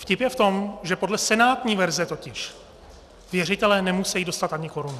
Vtip je v tom, že podle senátní verze totiž věřitelé nemusejí dostat ani korunu.